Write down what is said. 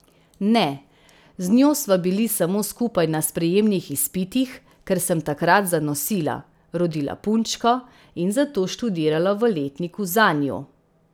Ne, z njo sva bili samo skupaj na sprejemnih izpitih, ker sem takrat zanosila, rodila punčko in zato študirala v letniku za njo.